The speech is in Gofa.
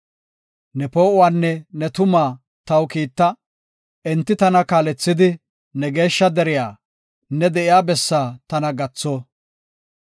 Ne poo7uwanne ne tumaa taw kiitta; enti tana kaalethidi ne geeshsha deriya, ne de7iya bessaa tana gatho.